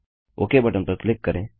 okay button पर click करें